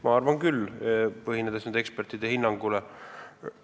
Ma arvan küll, tuginedes ekspertide hinnangule.